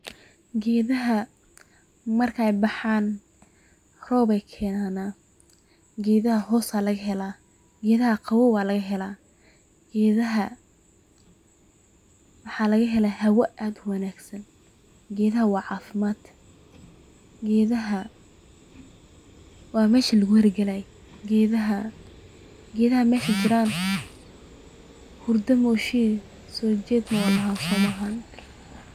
Geedhaha marka ey baxaan roob ey kenaana, geedhaha hoos ayaa lagahelaa geedhaha qawoow ayaa lagahelaa, geedhaha waxaa lagahelaa hawo aad uwanaagsan, geedhaha waa caafimad, geedhaha waa mesha laguhergalaaye, geedhaha mesha jiraan hurdo maoshiye sojeed maba loxo soo maahan.